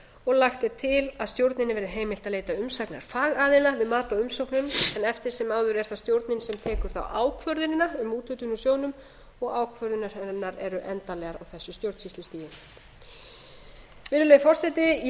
og lagt er til að stjórninni verði heimilað að leita umsagnar fagaðila við mat á umsóknum en eftir sem áður er það stjórnin sem tekur þá ákvörðunina um úthlutun á sjóðnum og ákvarðanir hennar eru endanlegar á þessu stjórnsýslustigi virðulegi forseti ég